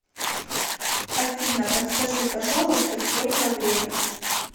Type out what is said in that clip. афина подскажи пожалуйста сколько время